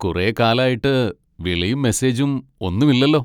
കുറേ കാലായിട്ട് വിളിയും മെസ്സേജും ഒന്നുമില്ലല്ലോ.